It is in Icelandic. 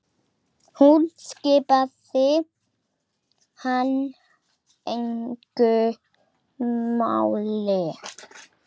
Hún skipti hann engu máli.